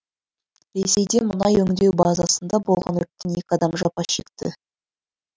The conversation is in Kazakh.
ресейде мұнай өңдеу базасында болған өрттен екі адам жапа шекті